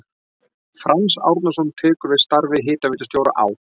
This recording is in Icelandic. Franz Árnason tekur við starfi hitaveitustjóra á